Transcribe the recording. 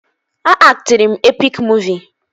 A aktịrị m epik muuvi